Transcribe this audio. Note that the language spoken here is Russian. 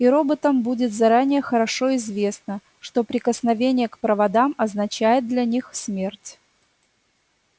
и роботам будет заранее хорошо известно что прикосновение к проводам означает для них смерть